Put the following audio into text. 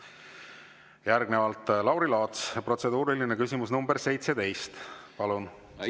Järgnevalt Lauri Laats, protseduuriline küsimus nr 17, palun!